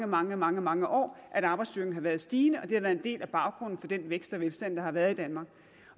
mange mange mange år at arbejdsstyrken har været stigende og det har været en del af baggrunden for den vækst og velstand der har været i danmark